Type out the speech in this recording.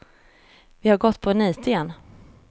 Vi har gått på en nit igen.